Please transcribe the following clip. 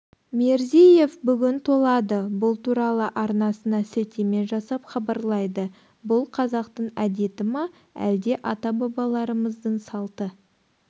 мирзиев бүгін толады бұл туралы арнасына сілтеме жасап хабарлайды бұл қазақтың әдеті ма әлде ата-бабалырымыздың салты